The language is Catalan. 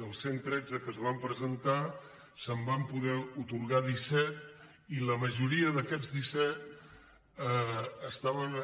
dels cent tretze que s’hi van presentar se’n van poder atorgar disset i la majoria d’aquests disset estaven